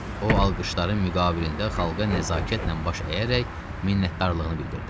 O alqışların müqabilində xalqa nəzakətlə baş əyərək minnətdarlığını bildirdi.